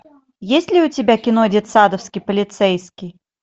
есть ли у тебя кино детсадовский полицейский